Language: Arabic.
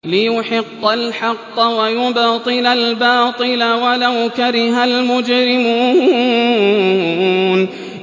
لِيُحِقَّ الْحَقَّ وَيُبْطِلَ الْبَاطِلَ وَلَوْ كَرِهَ الْمُجْرِمُونَ